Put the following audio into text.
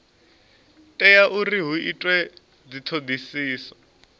tea uri hu itwe dzithodisiso